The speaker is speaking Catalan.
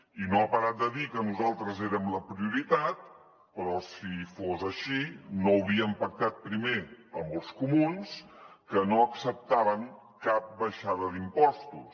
i no ha parat de dir que nosaltres érem la prioritat però si fos així no haurien pactat primer amb els comuns que no acceptaven cap baixada d’impostos